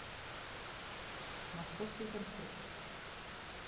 московские конфеты